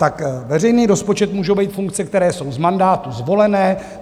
Tak veřejný rozpočet můžou být funkce, které jsou z mandátu zvolené.